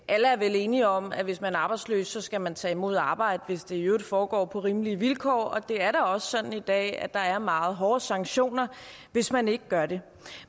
alle er vel enige om at hvis man er arbejdsløs skal man tage imod arbejde hvis det i øvrigt foregår på rimelige vilkår og det er da også sådan i dag at der er meget hårde sanktioner hvis man ikke gør det